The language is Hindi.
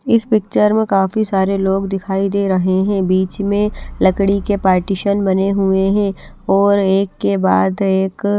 इस पिक्चर में काफी सारे लोग दिखाई दे रहे हैं बीच में लकड़ी के पार्टीशन बने हुए हैं और एक के बाद एक--